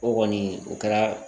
O kɔni o kɛra